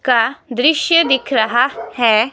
का दृश्य दिख रहा है--